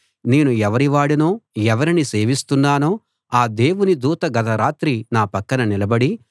నేను ఎవరి వాడినో ఎవరిని సేవిస్తున్నానో ఆ దేవుని దూత గత రాత్రి నా పక్కన నిలబడి